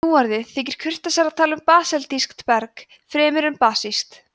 nú orðið þykir kurteisara að tala um basaltískt berg fremur en basískt